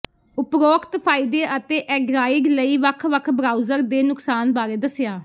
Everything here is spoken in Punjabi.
ਉਪਰੋਕਤ ਫ਼ਾਇਦੇ ਅਤੇ ਐਡਰਾਇਡ ਲਈ ਵੱਖ ਵੱਖ ਬਰਾਊਜ਼ਰ ਦੇ ਨੁਕਸਾਨ ਬਾਰੇ ਦੱਸਿਆ